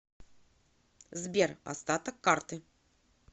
сбер остаток карты